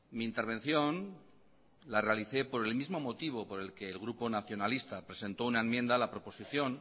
mi intervención la realicé por el mismo motivo por el que el grupo nacionalista presentó una enmienda a la proposición